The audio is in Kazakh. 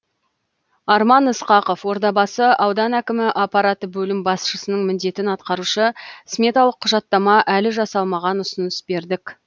арман ысқақов ордабасы ауданы әкімі аппараты бөлім басшысының міндетін атқарушы сметалық құжаттама әлі жасалмаған ұсыныс бердік